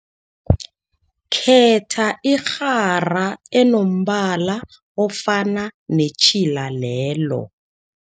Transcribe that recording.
Khetha irhara enombala ofana netjhila lelo.